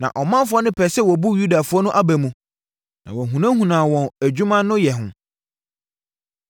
Na ɔmanfoɔ no pɛɛ sɛ wɔbu Yudafoɔ no aba mu na wɔhunahunaa wɔn adwuma no yɛ ho.